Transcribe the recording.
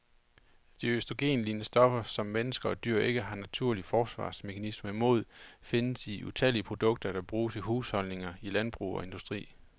De østrogenlignende stoffer, som mennesker og dyr ikke har naturlige forsvarsmekanismer imod, findes i utallige produkter, der bruges i husholdninger, i landbrug og industri.